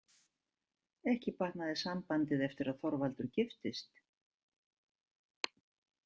Ekki batnaði sambandið eftir að Þorvaldur giftist.